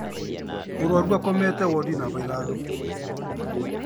Mũrwaru akomete wondi namba ithano